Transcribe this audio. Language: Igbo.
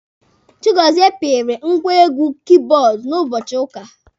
Chigozie pịrị ngwa egwu kibọọdụ n'ụbọchị ụka.